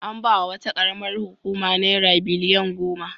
An ba wa wata ƙaramar hukuma naira biliyan goma.